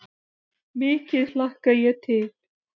Mikið hlakka ég til.